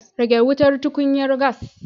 Rage wutar tukunyar gas